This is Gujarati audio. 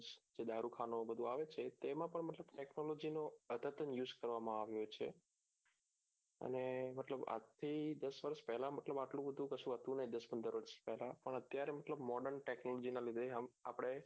દારૂખાનું એ બધું આવે છે તેમાં પણ મતલબ જેનું use કરવામો આવ્યો છે અને મતલબ આજથી દસ વર્ષ પેલા મતલબ આટલું બધું કશું હતું નહિ દસ પંદર વર્ષ પેલા પણ અત્યારે મતલબ model technology ના લીધે આમ આપણે